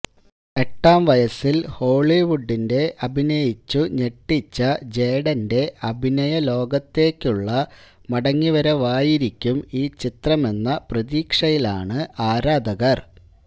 എട്ടാം വയസ്സിൽ ഹോളിവുഡിന്റെ അഭിനയിച്ചു ഞെട്ടിച്ച ജേഡന്റെ അഭിനയലോകത്തേക്കുള്ള മടങ്ങിവരവായിരിക്കുന്നും ഈ ചിത്രമെന്ന പ്രതീക്ഷയിലാണ് ആരാധകർ